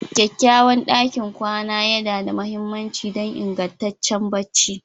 Kyakkyawan ɗakin kwana yana da mahimmanci don ingantaccen barci